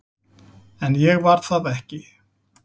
En ég var það ekki.